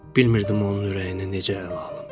Bilmirdim onun ürəyinə necə əl alım.